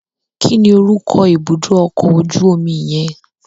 Kí ni orúkọ ibùdó ọkọ̀ ojú omi yẹn?